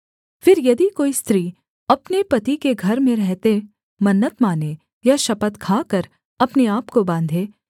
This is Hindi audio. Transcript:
फिर यदि कोई स्त्री अपने पति के घर में रहते मन्नत माने या शपथ खाकर अपने आपको बाँधे